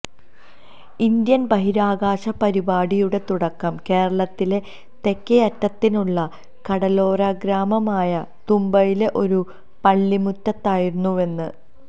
Indian ബഹിരാകാശ പരിപാടിയുടെ തുടക്കം കേരളത്തിലെ തെക്കേയറ്റത്തുള്ള കടലോരഗ്രാമമായ തുമ്പയിലെ ഒരു പള്ളിമുറ്റത്തായിരുന്നുവെന്ന്